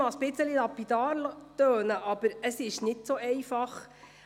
Das mag lapidar klingen, aber es ist gar nicht so einfach.